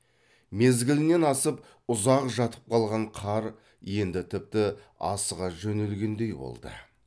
мезгілінен асып ұзақ жатып қалған қар енді тіпті асыға жөнелгендей болды